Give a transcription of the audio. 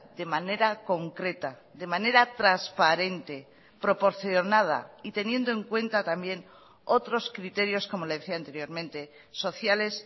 de manera concreta de manera transparente proporcionada y teniendo en cuenta también otros criterios como le decía anteriormente sociales